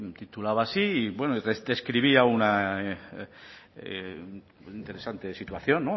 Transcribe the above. describía una interesante situación